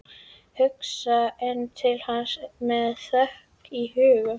Ég hugsa enn til hans með þökk í huga.